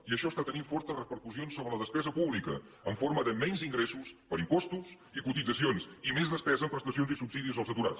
i això està tenint força repercussions sobre la despesa pública en forma de menys ingressos per impostos i cotitzacions i més despesa en prestacions i subsidis als aturats